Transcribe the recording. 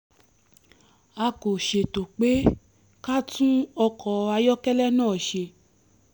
a kò ṣètò pé ká tún ọkọ̀ ayọ́kẹ́lẹ́ náà ṣe